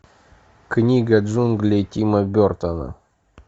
книга джунглей тима бертона